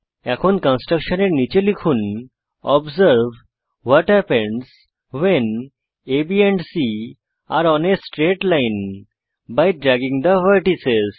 এখন কনস্ট্রাক্টশনের নীচে লিখুন observe what happen when A B and C are on a straight line by dragging the vertices